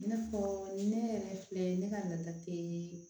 I n'a fɔ ne yɛrɛ filɛ ne ka laada tɛ